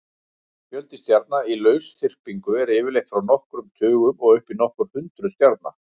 Fjöldi stjarna í lausþyrpingu er yfirleitt frá nokkrum tugum og upp í nokkur hundruð stjarna.